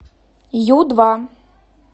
ю два